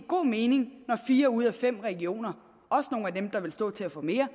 god mening når fire ud af fem regioner også nogle af dem der vil stå til at få mere